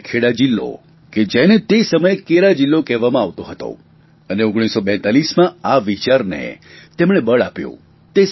અને ખેડા જિલ્લો કે જેને તે સમયે કેરા જિલ્લો કહેવામાં આવતો હતો અને 1942માં આ વિચારને તેમણે બળ આપ્યું